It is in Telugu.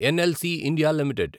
NLC India limited